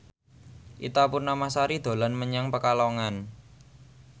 Ita Purnamasari dolan menyang Pekalongan